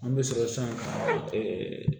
An bɛ